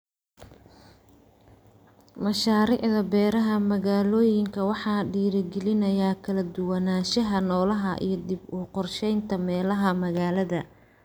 Mashaariicda beeraha magaalooyinka waxay dhiirigeliyaan kala duwanaanshaha noolaha iyo dib-u-qorsheynta meelaha magaalada.